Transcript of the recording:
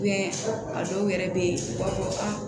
a dɔw yɛrɛ bɛ yen u b'a fɔ ko aa